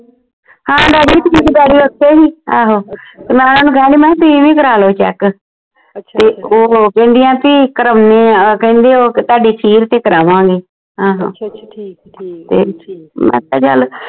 ਹਾਂ ਓਥੇ ਸੀ ਆਹੋ ਨਾਲ ਮੈਂ ਓਹਨੂੰ ਕਿਹਾ ਸੀ ਤੁਸੀਂ ਵੀ ਕਰਾ ਲੋ check ਤੇ ਓਹੋ ਕਹਿੰਦਿਆਂ ਕਿ ਕਰਾਉਣੇ ਆ ਕਹਿੰਦੇ ਉਹ ਕੇ ਤੁਹਾਡੀ ਕੇ ਕਰਾਵਾਂਗੇ ਆਹੋ ਫੇਰ ਮੈਂ ਕਿਹਾ ਚਲ